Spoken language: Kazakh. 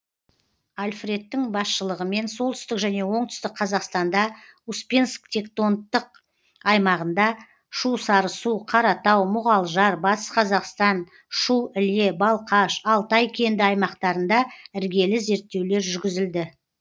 альфредтің басшылығымен солтүстік және оңтүстік қазақстанда успенск тектонтық аймағында шу сарысу қаратау мұғалжар батыс қазақстан шу іле балқаш алтай кенді аймақтарында іргелі зерттеулер жүргізілді